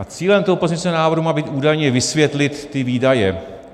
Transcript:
A cílem toho pozměňujícího návrhu má být údajně vysvětlit ty výdaje.